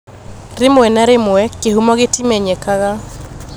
Rĩmwe na rĩmwe kĩhumo gĩtimenyekaga.